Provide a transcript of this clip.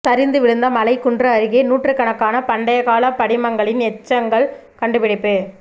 சரிந்து விழுந்த மலை குன்று அருகே நூற்றுக்கணக்கான பண்டைய கால படிமங்களின் எச்சங்கள் கண்டுபிடிப்பு